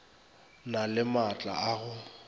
na le maatla a go